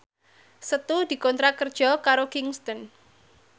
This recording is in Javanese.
Setu dikontrak kerja karo Kingston